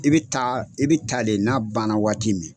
I bɛ taa i bɛ taa le n'a ban na waati min na.